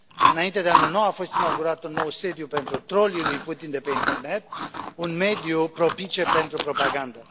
Înainte de anul nou a fost inaugurat un nou sediu pentru trolii lui Putin de pe internet, un mediu propice pentru propagandă.